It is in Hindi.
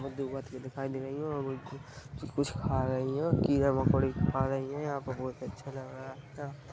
दो बत्तखे दिखाई दे रही है कुछ खा रह है यंहा कीड़ा मकोड़ा खा रहिए यहां पर बोहोत अच्छा लग रहा है।